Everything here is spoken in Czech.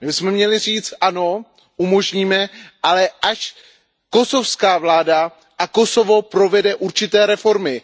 My bychom měli říci ano, umožníme, ale až kosovská vláda a Kosovo provede určité reformy.